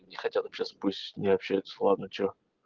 не хотя общаться пусть не общается ладно что